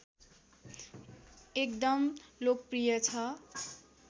एकदम लोकप्रिय छ